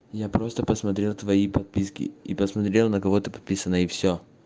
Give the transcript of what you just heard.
я просто посмотрел твои подписки и посмотрел на кого ты подписана и все